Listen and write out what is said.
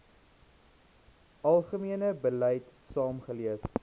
algemene beleid saamgelees